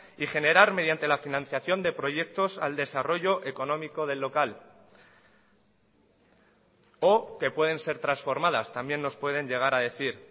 y generar mediante la financiación de proyectos al desarrollo económico del local o que pueden ser transformadas también nos pueden llegar a decir